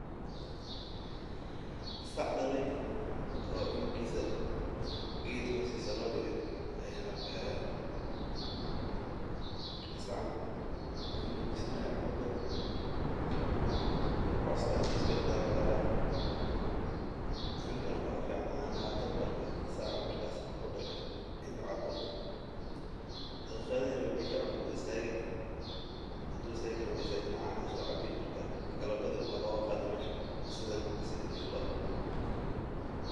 Sac dalay oo cunugiisa geed hostiisa loo dige, sacan wuxuu nujinaaya cunuga, coos ayuu iska daqayya, cunuga canaha ayaa fican inuu Cabo, marka galabti ayaa looga qaadi meesha.